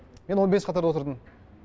мен он бес қатарда отырдым